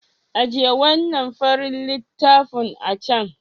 Ajiye wannan farin littafin a can.